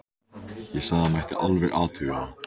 Ég sagði að það mætti alveg athuga það.